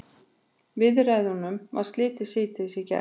Viðræðunum var slitið síðdegis í gær